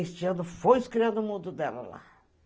Este ano foi os Criados do Mundo dela lá.